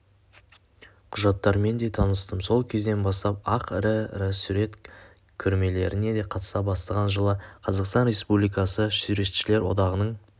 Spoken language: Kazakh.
құжаттармен де таныстым сол кезден бастап-ақ ірі-ірі сурет көрмелеріне қатыса бастаған жылы қазақстан республикасы суретшілер одағының